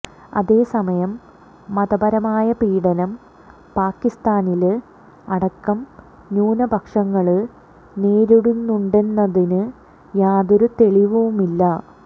അതേസമയം മതപരമായ പീഡനം പാകിസ്താനില് അടക്കം ന്യൂനപക്ഷങ്ങള് നേരിടുന്നുണ്ടെന്നതിന് യാതൊരു തെളിവുമില്ല